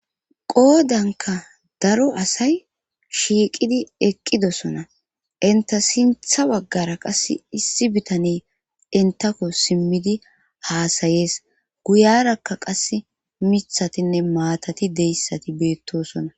Qoodanka daro asay shiiqidi eqqidosona inta sintha baggara qas issi bitani intako simmidi haasayees guyarakka qass mithatinne maatati deyssati beettosona